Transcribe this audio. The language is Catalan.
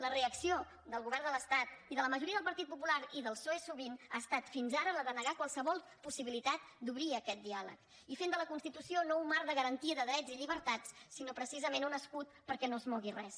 la reacció del govern de l’estat i de la majoria del partit popular i del psoe sovint ha estat fins ara la de negar qualsevol possibilitat d’obrir aquest diàleg i fent de la constitució no un marc de garantia de drets i llibertats sinó precisament un escut perquè no es mogui res